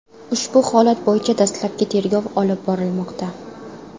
Ushbu holat bo‘yicha dastlabki tergov olib borilmoqda.